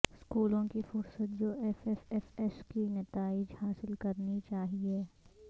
اسکولوں کی فہرست جو ایف ایف ایف ایس کے نتائج حاصل کرنی چاہئے